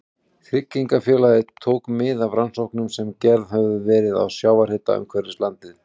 Tryggingafélagið tók mið af rannsóknum sem gerðar höfðu verið á sjávarhita umhverfis landið.